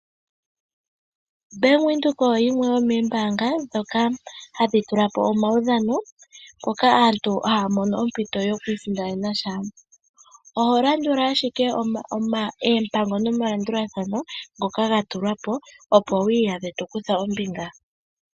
Bank Windhoek oyo yimwe yomoombaanga ndhoka hadhi tula po omudhano, mpoka aantu haya mono ompito yoku isindanena sha. Oho landula ashike oompango nomalandulathano ngoka ga tulwa po, opo wu iyadhe to kutha ombinga.